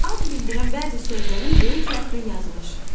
Ad bildirən bəzi sözlərin böyük hərflə yazılışı.